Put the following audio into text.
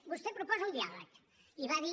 vostè proposa un diàleg i va dir